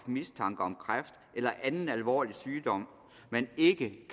mistanke om kræft eller anden alvorlig sygdom men ikke